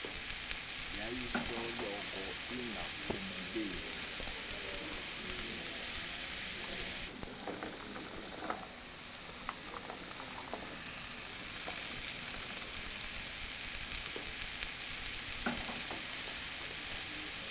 yayi soloko ingaphumeleli